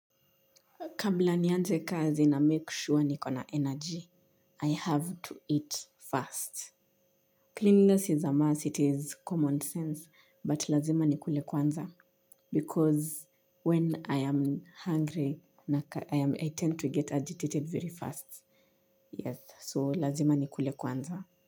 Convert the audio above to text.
Kabla nianze kazi namake sure niko na energy. I have to eat first. Cleanliness is a must. It is common sense. But lazima nikule kwanza. Because when I am hungry, I tend to get agitated very fast. Yes, so lazima nikule kwanza.